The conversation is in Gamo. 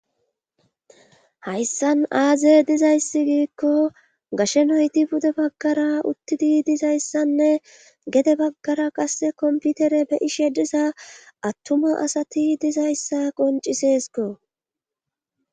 Hayssan aaze dizayssi giikko gashe noyti bude baggara uttidi dizayssanne gede baggara qasse komputere beyishe diza attuma asati dizayssa qoncisesko